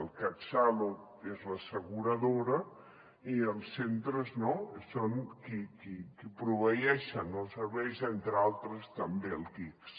el catsalut és l’asseguradora i els centres no són qui proveeixen els serveis entre altres també l’ics